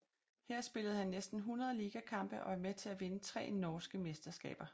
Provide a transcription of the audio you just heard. Her spillede han næsten 100 ligakampe og var med til at vinde tre norske mesterskaber